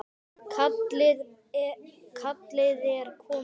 Kallið er komið